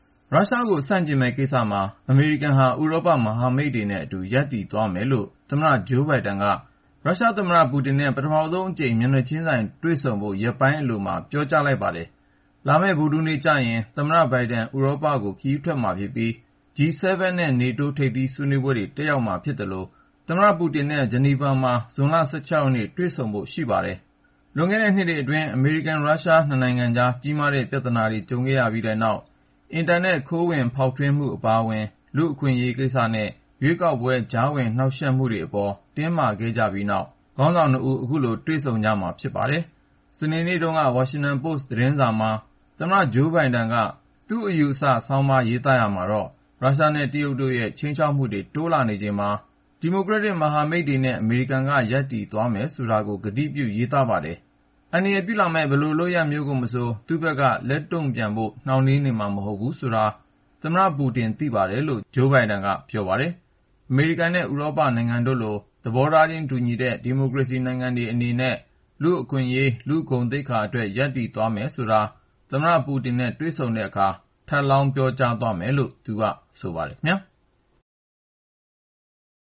ရုရှားကိုဆန့်ကျင်မယ့် ကိစ္စမှာ အမေရိကန်ဟာ ဥရောပ မဟာမိတ်တွေနဲ့အတူ ရပ်တည်သွားမယ်လို့ သမ္မတ ဂျိုးဘိုင်ဒန်က သူ့သမ္မတသက်တမ်းအတွင်း ရုရှားသမ္မတ ပူတင်နဲ့ ပထမဆုံးအကြိမ် မျက်နှာချင်းဆိုင် တွေ့ဆုံဖို့ ရက်ပိုင်းအလိုမှာပဲ ပြောကြားလိုက်ပါတယ်။ လာမယ့် ဗုဒ္ဓဟူးနေ့ကျရင် သမ္မတ ဘိုင်ဒန် ဥရောပကို ခရီးထွက်မှာဖြစ်ပြီး G-7 နဲ့ NATO ထိပ်သီးဆွေးနွေးပွဲတွေ တက်ရောက်မှာဖြစ်သလို ရုရှားသမ္မတနဲ့ ဂျီနီဗာမှာ ဇွန်လ ၁၆ ရက်နေ့ တွေ့ဆုံဖို့ ရှိပါတယ်။ လွန်ခဲ့တဲ့နှစ်တွေအတွင်း အမေရိကန်-ရုရှား နှစ်နိုင်ငံကြား ကြီးမားတဲ့ ပြဿနာတွေ ကြုံခဲ့ရပြီး အက်တာနက် ခိုးဝင်ဖောက်ထွင်းမှု အပါအဝင် လူ့အခွင့်အရေးကိစ္စနဲ့ ရွေးကောက်ပွဲ ကြားဝင်နှောင့်ယှက်မှုတွေအပေါ် တင်းမာခဲ့ကြပြီးနောက်မှာ ခေါင်းဆောင်နှစ်ဦး အခုလို တွေ့ဆုံကြမှာ ဖြစ်ပါတယ်။ စနေနေ့တုန်းက Washington Post သတင်းစာထဲ သမ္မတ ဂျိုးဘိုင်ဒန်က သူ့ထင်မြင်ယူဆချက် ဆောင်းပါးကို ရေးသားရာမှာတော့ ရုရှားနဲ့ တရုတ်တို့ရဲ့ ခြိမ်းခြောက်မှုတွေ တိုးလာနေချိန်မှာ သူ့ ဒီမိုကရက်တစ် မဟာမိတ်တွေနဲ့အတူ အမေရိကန်က ရပ်တည်သွားမယ်ဆိုတာကို ကတိပြု ရေးသားခဲ့တာပါ။ အန္တရာယ်ပြုလာမယ့် လှုပ်ရှားမှုတွေ ရှိလာခဲ့ရင် သူ့ဘက်က လက်တုံ့ပြန်ဖို့ နှောင့်နှေးနေမှာ မဟုတ်ဘူး ဆိုတာကို သမ္မတပူတင် သိပါတယ်လို့ ဂျိုးဘိုင်ဒန်က ပြောပါတယ်။ အမေရိကန်အနေနဲ့ ဥရောပနိုင်ငံတို့လို သဘောထားချင်း တူညီတဲ့ ဒီမိုကရေစီနိုင်ငံတွေ အနေနဲ့ လူ့အခွင့်အရေး လူ့ဂုဏ်သိက္ခာအတွက် ရပ်တည်သွားမယ် ဆိုတာကို သမ္မတ ပူတင်နဲ့ တွေ့တဲ့အခါ ထပ်လောင်း ပြောကြားမယ်လို့ သူက ဆိုပါတယ်။